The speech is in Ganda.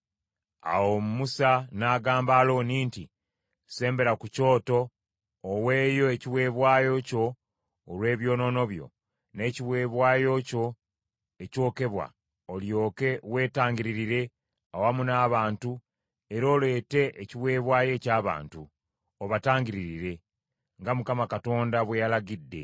Awo Musa n’agamba Alooni nti, “Sembera ku kyoto oweeyo ekiweebwayo kyo olw’ebyonoono byo, n’ekiweebwayo kyo ekyokebwa, olyoke weetangiririre awamu n’abantu era oleete ekiweebwayo eky’abantu; obatangiririre; nga Mukama Katonda bwe yalagidde.”